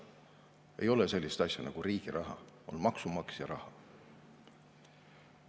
Ei ole sellist asja nagu riigi raha, on maksumaksja raha.